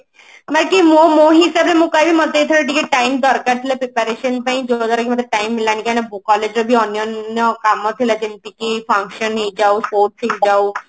ବାକି ମୋ ମୋ ହିସାବରେ ମୁଁ କହିବି ମତେ ଏଥର ଟିକେ time ଦରକାର ଥିଲା preparation ପାଇଁ ଯୋଉଟା କି ମତେ time ମିଳିଲାନି କାହିଁକି ନା collage ର ବି ଅନାନ୍ୟ କାମ ଥିଲା ଯେମତି କି function ହେଇଯାଉ sports ହେଇଯାଉ